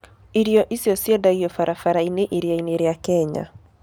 Irio icio ciendagio barabara-inĩ iria-inĩ rĩa Kenya.